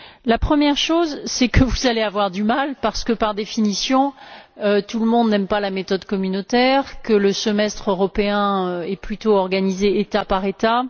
La première chose, c'est que vous allez avoir du mal, parce que, par définition, tout le monde n'aime pas la méthode communautaire, et que le semestre européen est plutôt organisé État par État.